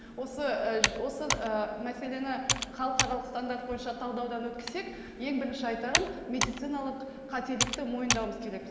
осы ы осы ы мәселені халықаралық стандарт бойынша талдаудан өткізсек ең бірінші айтарым медициналық қателікті мойындауымыз керекпіз